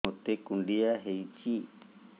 ମୋତେ କୁଣ୍ଡିଆ ହେଇଚି